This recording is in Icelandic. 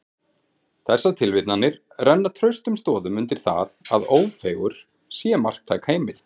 Þessar tilvitnanir renna traustum stoðum undir það, að Ófeigur sé marktæk heimild.